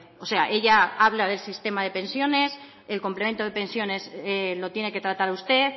o sea ella habla del sistema de pensiones el complemento de pensiones lo tiene que tratar usted